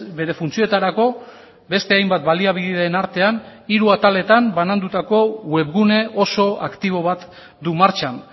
bere funtzioetarako beste hainbat baliabideen artean hiru ataletan banandutako web gune oso aktibo bat du martxan